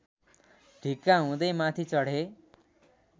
ढिक्का हुँदै माथि चढे